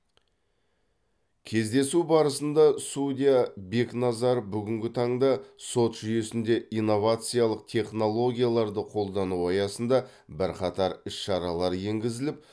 кездесу барысында судья бекназаров бүгінгі таңда сот жүйесінде инновациялық технологияларды қолдану аясында бірқатар іс шаралар енгізіліп